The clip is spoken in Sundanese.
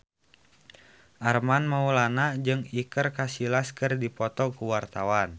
Armand Maulana jeung Iker Casillas keur dipoto ku wartawan